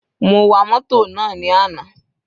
Mo wa mótò náà ní àná.